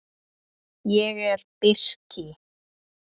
Ég er birki.